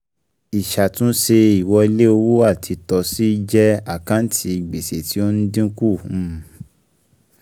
Ìṣàtúnṣe ìwọlé owó àìtọ́sí jẹ́ àkántì gbèsè tí ó ń dínkù um